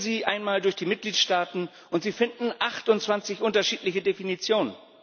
Gehen Sie einmal durch die Mitgliedstaaten, und Sie finden 28 unterschiedliche Definitionen.